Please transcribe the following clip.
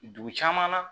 Dugu caman na